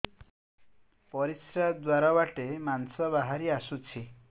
ପରିଶ୍ରା ଦ୍ୱାର ବାଟେ ମାଂସ ବାହାରି ଆସୁଛି